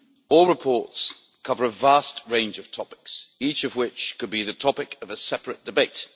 All reports cover a vast range of topics, each of which could be the topic of a separate debate.